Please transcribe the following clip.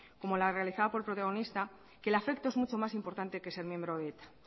como la realizada por el protagonista que el afecto es mucho más importante que ser miembro de eta